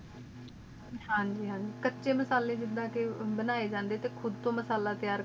ਹਾਂਜੀ ਕਚੇ ਮਸਲੇ ਜਿਡਾ ਕ ਬਣਾਏ ਜਾਂਦੇ ਟੀ ਖੁਦ ਤ ਮਾਸਾਲਾਹ ਤਿਯਾਰ